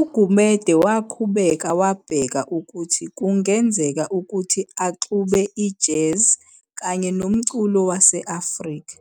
UGumede waqhubeka wabheka ukuthi kungenzeka ukuthui axube i-jazz kanye nomculo wase-Afrika.